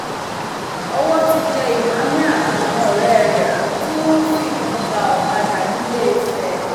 owó ti tẹ emmanuel àtàwọn ọrẹ rẹ tí wọn ń fìbọn gba ọkadà ńilééfẹ